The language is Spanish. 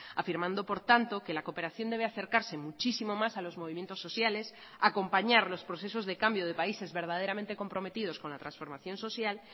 afirmando por tanto que la cooperación debe acercarse muchísimo más a los movimientos sociales a acompañar los procesos de cambio de países verdaderamente comprometidos con la transformación social